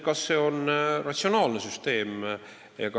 Kas see on ratsionaalne süsteem?